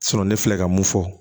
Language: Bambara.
ne filɛ ka mun fɔ